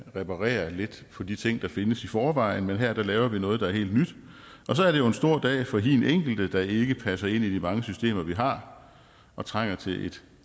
reparerer lidt på de ting der findes i forvejen men her laver vi noget der er helt nyt og så er det jo en stor dag for hin enkelte der ikke passer ind i de mange systemer vi har og trænger til et